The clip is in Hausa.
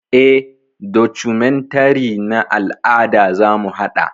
Eh, documentary na al'ada zamu haɗa.